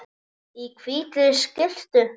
Í hvítri skyrtu.